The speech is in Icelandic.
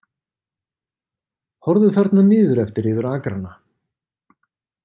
Horfðu þarna niður eftir yfir akrana.